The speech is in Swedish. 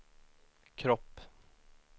kropp